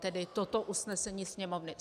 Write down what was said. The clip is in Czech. Tedy toto usnesení Sněmovny.